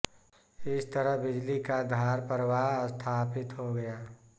इस तरह बिजली का धार प्रवाह स्थापित हो गया